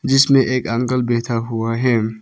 जिसमें एक अंकल बैठा हुआ है।